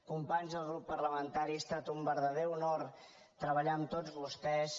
companys del grup parlamentari ha estat un verdader honor treballar amb tots vostès